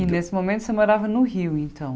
E nesse momento você morava no Rio, então?